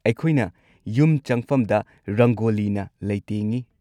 ꯑꯩꯈꯣꯏꯅ ꯌꯨꯝ ꯆꯪꯐꯝꯗ ꯔꯪꯒꯣꯂꯤꯅ ꯂꯩꯇꯦꯡꯉꯤ꯫